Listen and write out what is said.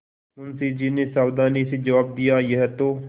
मुंशी जी ने सावधानी से जवाब दियायह तो